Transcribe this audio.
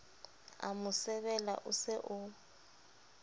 a mo sebela o se